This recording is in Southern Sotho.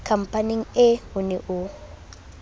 khampaneng ee o ne o